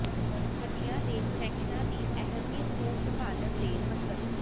ਹੱਡੀਆਂ ਦੇ ਕੁਨੈਕਸ਼ਨਾਂ ਦੀ ਅਹਿਮੀਅਤ ਨੂੰ ਸੰਭਾਲਣ ਦੇ ਮਤਲਬ